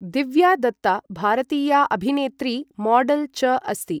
दिव्या दत्ता भारतीया अभिनेत्री, मॉडल् च अस्ति ।